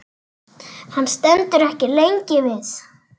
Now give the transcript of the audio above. Hann stendur ekki lengi við.